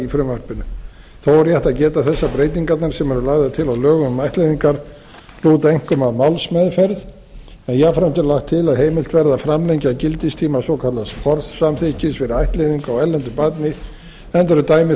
frumvarpinu þó er rétt að geta þess að breytingarnar sem eru lagðar til í lögum um ættleiðingar lúta einkum að málsmeðferð en jafnframt er lagt til að heimild verði að framlengja gildistíma svokallaðs forsamþykkis fyrir ættleiðingu á erlendu barni enda eru dæmi þess